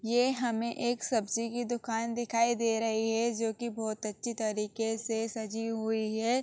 ये हमें एक सब्जी की दुकान दिखाई दे रही है जोकि बहुत अच्छी तरीके से सजी हुई है।